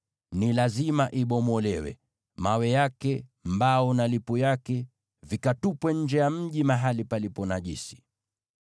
Ni lazima ibomolewe: mawe yake, mbao na lipu yake, vyote vikatupwe nje ya mji mahali palipo najisi.